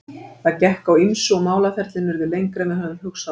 Það gekk á ýmsu og málaferlin urðu lengri en við höfðum hugsað okkur.